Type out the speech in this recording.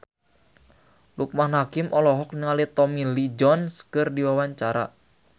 Loekman Hakim olohok ningali Tommy Lee Jones keur diwawancara